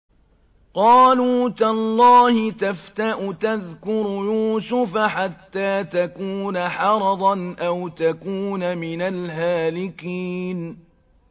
قَالُوا تَاللَّهِ تَفْتَأُ تَذْكُرُ يُوسُفَ حَتَّىٰ تَكُونَ حَرَضًا أَوْ تَكُونَ مِنَ الْهَالِكِينَ